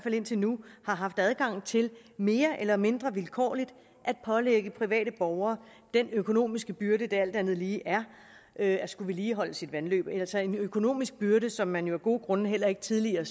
indtil nu har haft adgang til mere eller mindre vilkårligt at pålægge private borgere den økonomiske byrde det alt andet lige er at skulle vedligeholde sit vandløb altså en økonomisk byrde som man jo af gode grunde heller ikke tidligere